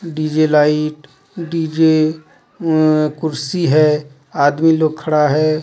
DJ light DJ अम्-कुर्सी है आदमी लोग खड़ा है.